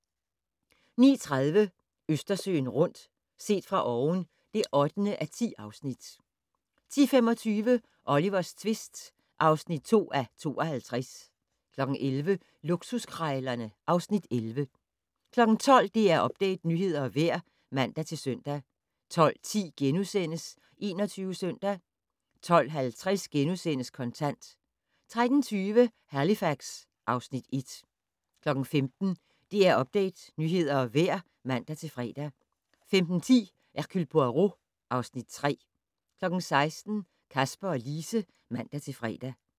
09:30: Østersøen rundt - set fra oven (8:10) 10:25: Olivers tvist (2:52) 11:00: Luksuskrejlerne (Afs. 11) 12:00: DR Update - nyheder og vejr (man-søn) 12:10: 21 Søndag * 12:50: Kontant * 13:20: Halifax (Afs. 1) 15:00: DR Update - nyheder og vejr (man-fre) 15:10: Hercule Poirot (Afs. 3) 16:00: Kasper og Lise (man-fre)